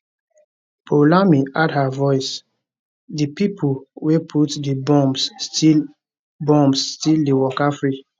poulami add her voice di pipo wey put di bombs still bombs still dey waka free